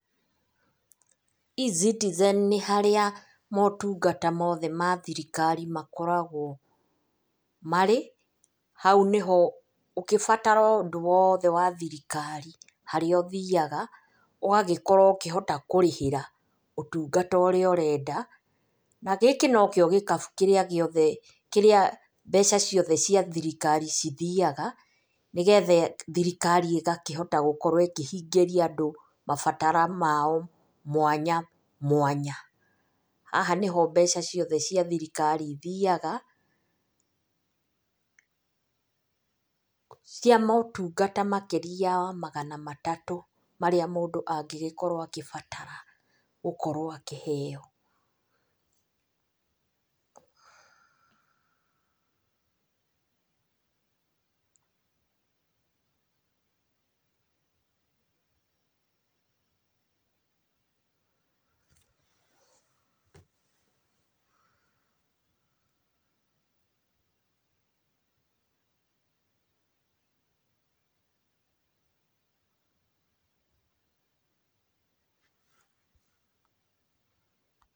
eCitizen nĩ harĩa motungata mothe ma thirikari makoragwo marĩ. Hau nĩho ũgĩbatara ũndũ wothe wa thirikari harĩa ũthiaga, ũgagĩkorwo ũkĩhota kũrĩhĩra ũtungata ũrĩa ũrenda. Na gĩkĩ no kĩo gĩkabũ kĩrĩa gĩothe kĩrĩa mbeca ciothe cia thirikari cithiaga, nĩgetha thirikari ĩgakĩhota gũkorwo ĩkĩhingĩria andũ mabatara mao mwanya mwanya. Haha nĩho mbeca ciothe cia thirikari ithiaga cia motungata makĩria ya magana matatũ marĩa mũndũ angĩgĩkorwo agĩbatara gũkorwo akĩheyo.